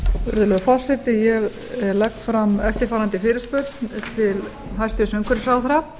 virðulegi forseti ég legg fram eftirfarandi fyrirspurn til hæstvirts umhverfisráðherra